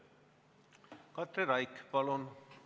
Katri Raik, palun!